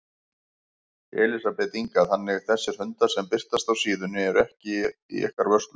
Elísabet Inga: Þannig þessir hundar sem birtast á síðunni eru ekkert í ykkar vörslu?